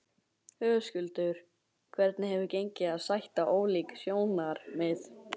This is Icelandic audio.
Höskuldur: Hvernig hefur gengið að sætta ólík sjónarmið?